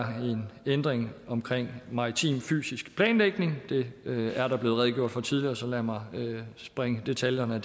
en ændring omkring maritim fysisk planlægning det er der blevet redegjort for tidligere så lad mig springe detaljerne